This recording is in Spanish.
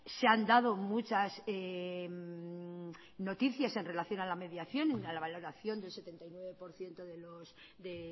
se han dado muchas noticias en relación a la mediación a la valoración del setenta y nueve por ciento de